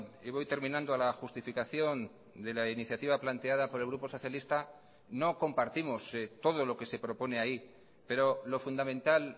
y voy terminando a la justificación de la iniciativa planteada por el grupo socialista no compartimos todo lo que se propone ahí pero lo fundamental